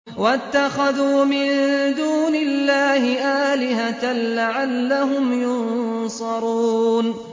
وَاتَّخَذُوا مِن دُونِ اللَّهِ آلِهَةً لَّعَلَّهُمْ يُنصَرُونَ